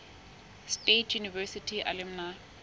state university alumni